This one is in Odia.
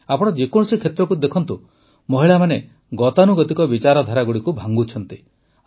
ଆପଣ ଯେକୌଣସି କ୍ଷେତ୍ରରେ ଦେଖନ୍ତୁ ମହିଳାମାନେ ଗତାନୁଗତିକ ବିଚାରଧାରାଗୁଡ଼ିକୁ ଭାଙ୍ଗୁଛନ୍ତି